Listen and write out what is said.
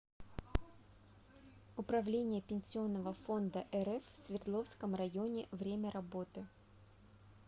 управление пенсионного фонда рф в свердловском районе время работы